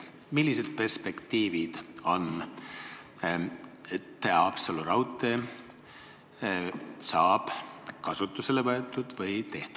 Millised perspektiivid on, et Haapsalu raudtee saab tõesti kasutusele võetud?